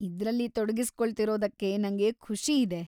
ಇದ್ರಲ್ಲಿ ತೊಡಗಿಸ್ಕೊಳ್ತಿರೋದಕ್ಕೆ ನಂಗೆ ಖುಷಿ ಇದೆ.